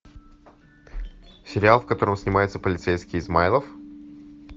сериал в котором снимается полицейский измайлов